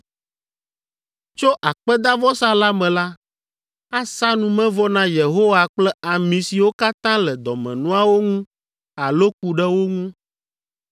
Tso akpedavɔsa la me la, asa numevɔ na Yehowa kple ami siwo katã le dɔmenuawo ŋu alo ku ɖe wo ŋu,